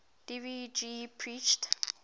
dev ji preached